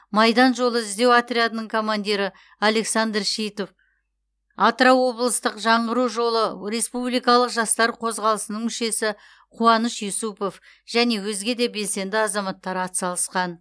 майдан жолы іздеу отрядының командирі александр шитов атырау облыстық жаңғыру жолы республикалық жастар қозғалысының мүшесі қуаныш юсупов және өзге де белсенді азаматтар атсалысқан